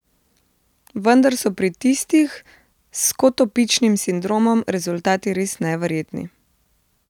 Vendar so pri tistih s skotopičnim sindromom rezultati res neverjetni.